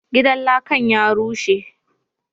Gidan lakan ya rushe,